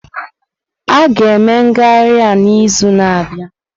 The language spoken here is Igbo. A ga-eme ngagharị a n'izu na-abịa.